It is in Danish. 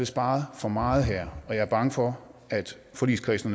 sparet for meget her og jeg er bange for at forligskredsen